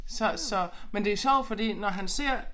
Så så men det sjovt fordi når han ser